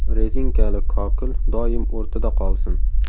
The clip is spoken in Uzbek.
Rezinkali kokil doim o‘rtada qolsin.